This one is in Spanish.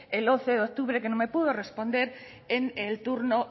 el once de octubre que no me pudo responder en el turno